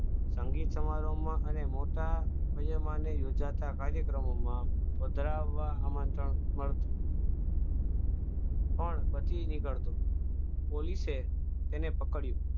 સંગીત સમારોહ માં અને મોટા યોજાતા કાર્યક્રમમાં પધરાવવા આમંત્રણ મળતું પણ બચી નીકળતું પોલીસે તેને પકડ્યું